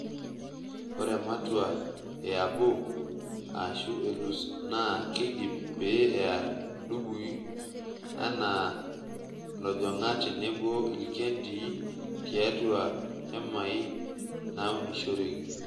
Ore ematua e abo aashu elus naa keidip pee ear ndudui anaa lojonga tenebo ilkendii tiatua hmai naaunishoreki.